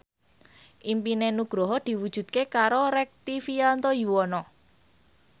impine Nugroho diwujudke karo Rektivianto Yoewono